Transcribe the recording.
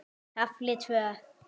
KAFLI TVÖ